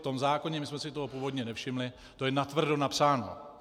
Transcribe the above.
V tom zákoně, my jsme si toho původně nevšimli, to je natvrdo napsáno.